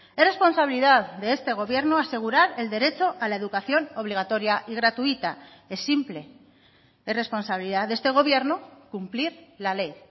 es responsabilidad de este gobierno asegurar el derecho a la educación obligatoria y gratuita es simple es responsabilidad de este gobierno cumplir la ley